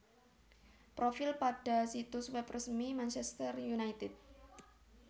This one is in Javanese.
Profil pada situs web resmi Manchester United